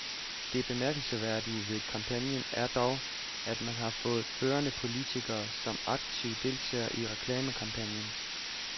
Det bemærkelsesværdige ved kampagnen er dog, at man har fået førende politikere som aktive deltagere i reklamekampagnen.